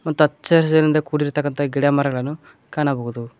ಅಂತ ಹಚ್ಚ ಹಸಿರಿನಿಂದ ಕೂಡಿರುವಂತಹ ಗಿಡಮರಗಳನ್ನು ಕಾಣಬಹುದು.